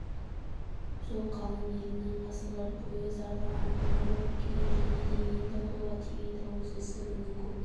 сол қалың елінің ғасырлар бойы зарлы арманы болып келген және де енді қолға тиген тәуелсіздігінің көк